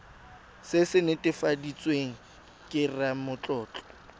se se netefaditsweng ke ramatlotlo